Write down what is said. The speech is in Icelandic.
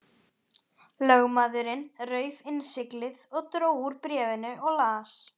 Lögmaðurinn rauf innsiglið og dró úr bréfinu og las.